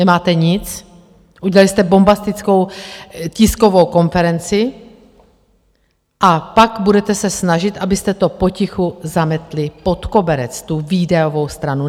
Nemáte nic, udělali jste bombastickou tiskovou konferenci, a pak budete se snažit, abyste to potichu zametli pod koberec, tu výdajovou stranu.